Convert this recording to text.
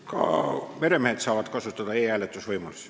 Ka meremehed saavad kasutada e-hääletamise võimalusi.